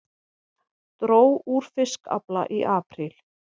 Dró úr fiskafla í apríl